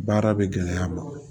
Baara bɛ gɛlɛya a ma